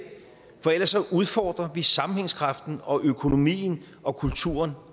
ellers udfordrer vi sammenhængskraften og økonomien og kulturen